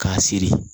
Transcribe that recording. K'a siri